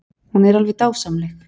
Hún er alveg dásamleg.